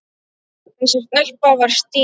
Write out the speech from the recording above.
Þessi stelpa var Stína.